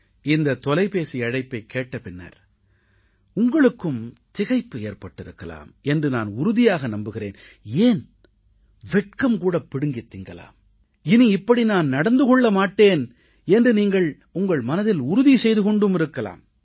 இந்தத் தொலைபேசி அழைப்பைக் கேட்ட பின்னர் உங்களுக்கும் திகைப்பு ஏற்பட்டிருக்கலாம் என்று நான் உறுதியாக நம்புகிறேன் ஏன் வெட்கம் கூடப் பிடுங்கித் தின்னலாம் இனி இப்படி நான் நடந்து கொள்ள மாட்டேன் என்று நீங்கள் உங்கள் மனதில் உறுதி செய்து கொண்டும் இருக்கலாம்